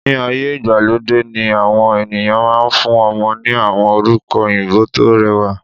Ní ayé ìgbàlódé yìí, àwọn ènìyàn máa fún ọmọ ní àwọn orúkọ òyìnbó tó rẹwà.